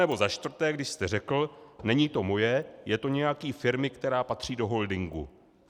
Anebo za čtvrté, když jste řekl "není to moje, je to nějaký firmy, která patří do holdingu"?